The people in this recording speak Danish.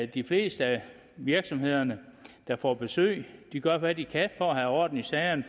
de fleste af virksomhederne der får besøg gør hvad de kan for at have orden i sagerne